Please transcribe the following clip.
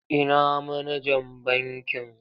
Ina manajan bankin?